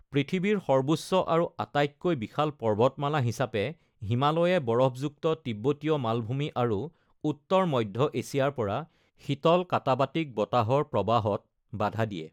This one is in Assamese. পৃথিৱীৰ সৰ্বোচ্চ আৰু আটাইতকৈ বিশাল পৰ্বতমালা হিচাপে, হিমালয়ে বৰফযুক্ত তিব্বতীয় মালভূমি আৰু উত্তৰ মধ্য এছিয়াৰ পৰা শীতল কাটাবাটিক বতাহৰ প্ৰৱাহত বাধা দিয়ে।